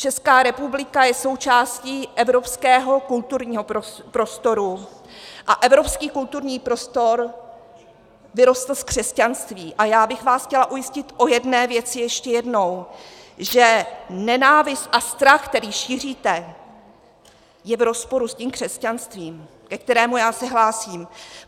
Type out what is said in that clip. Česká republika je součástí evropského kulturního prostoru a evropský kulturní prostor vyrostl v křesťanství a já bych vás chtěla ujistit o jedné věci ještě jednou, že nenávist a strach, který šíříte, je v rozporu s tím křesťanstvím, ke kterému já se hlásím.